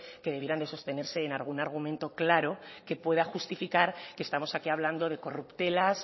que debieran de sostenerse en algún argumento claro que pueda justificar que estamos aquí hablando de corruptelas